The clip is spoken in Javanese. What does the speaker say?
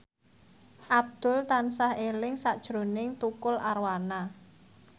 Abdul tansah eling sakjroning Tukul Arwana